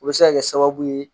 O bɛ se ka kɛ sababu ye